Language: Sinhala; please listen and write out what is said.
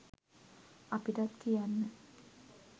අපිටත් කියන්න